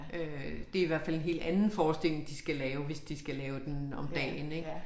Øh det i hvert fald en helt anden forestilling de skal lave hvis de skal lave den om dagen ik